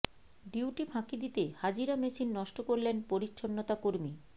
duty ফাঁকি দিতে হাজিরা মেশিন নষ্ট করলেন পরিচ্ছন্নতা কর্মী